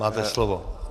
Máte slovo.